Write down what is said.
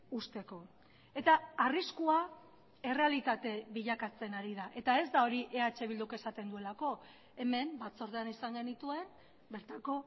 uzteko eta arriskua errealitate bilakatzen ari da eta ez da hori eh bilduk esaten duelako hemen batzordean izan genituen bertako